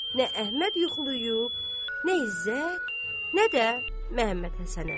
Nə Əhməd yuxulayıb, nə İzzət, nə də Məmmədhəsən əmi.